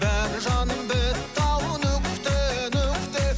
бәрі жаным бітті ау нүкте нүкте